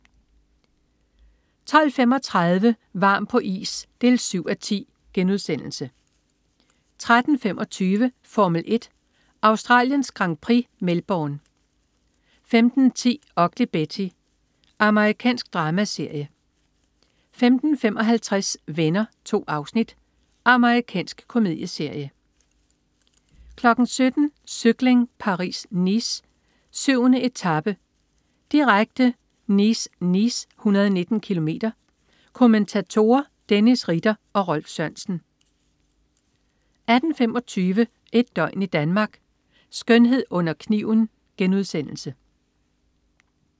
12.35 Varm på is 7:10* 13.25 Formel 1: Australiens Grand Prix. Melbourne 15.10 Ugly Betty. Amerikansk dramaserie 15.55 Venner. 2 afsnit. Amerikansk komedieserie 17.00 Cykling: Paris-Nice. 7. etape, direkte. Nice-Nice, 119 km. Kommentatorer: Dennis Ritter og Rolf Sørensen 18.25 Et døgn i Danmark: Skønhed under kniven*